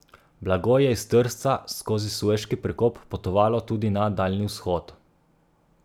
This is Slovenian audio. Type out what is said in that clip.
Blago je iz Trsta skozi Sueški prekop potovalo tudi na Daljni vzhod.